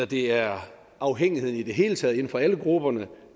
det er afhængigheden i det hele taget inden for alle grupper